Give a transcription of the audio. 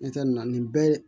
N'o tɛ nin na nin bɛɛ